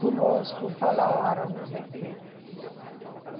Conosco, falaram, não sei o quê.